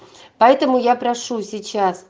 поэтому я прошу сейчас